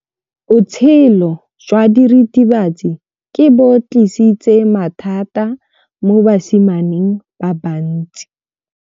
Botshelo jwa diritibatsi ke bo tlisitse mathata mo basimaneng ba bantsi.